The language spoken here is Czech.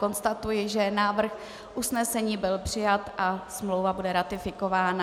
Konstatuji, že návrh usnesení byl přijat a smlouva bude ratifikována.